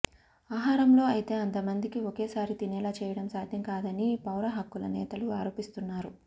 ఆహారంలో అయితే అంతమందిని ఒకేసారి తినేలా చేయడం సాధ్యం కాదని పౌరహక్కుల నేతలు ఆరోపిస్తున్నారు